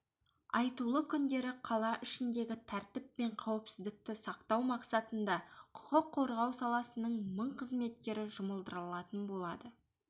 айтулы күндері қала ішіндегі тәртіп пен қауіпсіздікті сақтау мақсатында құқық қорғау саласының мың қызметкері жұмылдырылатын болады